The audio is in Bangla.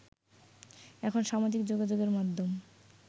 এখন সামাজিক যোগাযোগের মাধ্যম